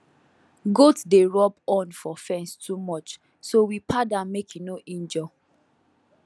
goat dey rub horn for fence too much so we pad am make e no injure